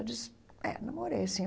Eu disse, é, namorei, sim.